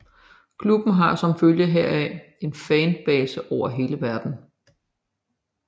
Klubben har som følge heraf en fanbase over hele verden